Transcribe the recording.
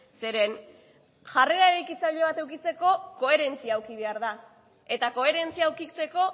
zeren eta jarrera eraikitzailea bat edukitzeko koherentzia eduki behar da eta koherentzia edukitzeko